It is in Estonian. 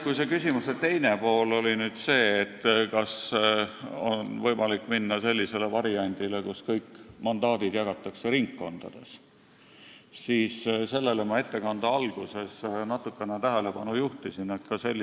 Kui see küsimuse teine pool oli see, kas on võimalik minna sellisele variandile, kus kõik mandaadid jagatakse ringkondades, siis sellele ma juba juhtisin natukene tähelepanu oma ettekande alguses.